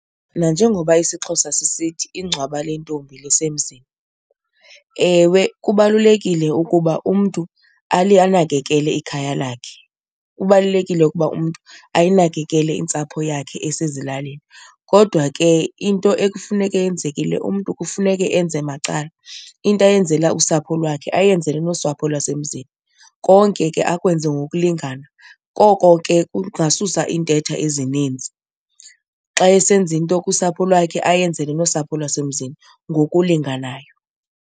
Nanjengoba isiXhosa sisithi ingcwaba lentombi lisemzini, ewe, kubalulekile ukuba umntu anakekele ikhaya lakhe. Kubalulekile ukuba umntu ayinakekele intsapho yakhe esezilalini kodwa ke into ekufuneka yenzekile umntu kufuneke enze macala. Into ayenzela usapho lwakhe ayenzele nosapho lwasemzini, konke ke akwenze ngokulingana, koko ke kungasusa iintetha ezininzi. Xa esenza into kusapho lwakhe ayenzele nosapho lwasemzini ngokulinganayo.